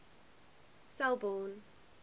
selborne